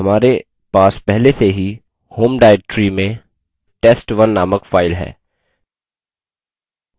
हमारे पास पहले से ही home directory में test1 named file है